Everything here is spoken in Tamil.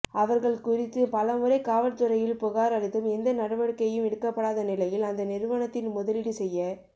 அவர்கள் குறித்து பலமுறை காவல்துறையில் புகார் அளித்தும் எந்த நடவடிக்கையும் எடுக்கப்படாத நிலையில் அந்த நிறுவனத்தில் முதலீடு செய்ய